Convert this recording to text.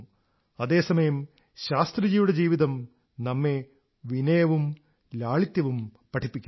അതേ സമയം ശാസ്ത്രിജിയുടെ ജീവിതം നമ്മെ വിനയവും ലാളിത്യവും പഠിപ്പിക്കുന്നു